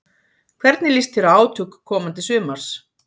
Hvernig líst þér á átök komandi sumars?